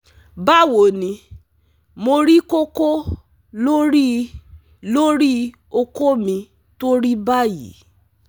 Bawo ni? mo ri koko lori lori oko mi to ri bayii